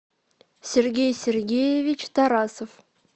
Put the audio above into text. сергей сергеевич тарасов